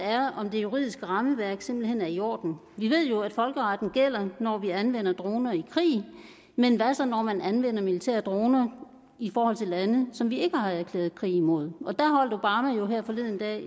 er om det juridiske rammeværk simpelt hen er i orden vi ved jo at folkeretten gælder når vi anvender droner i krig men hvad så når man anvender militære droner i forhold til lande som vi ikke har erklæret krig imod der holdt obama jo her forleden dag